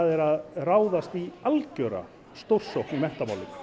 er að ráðast í algjöra stórsókn í menntamálum